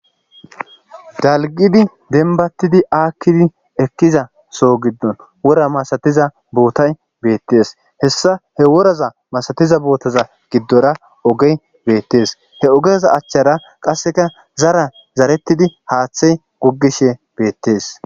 Dalgidi denbattidi aakkidi ekkiza so giddon wora masatiza bootay beettees hessa he woraza masatiza bootaza giddora ogey beettees he ogeza achchara qasseka zara zarettidi haaththey goggishe beettees.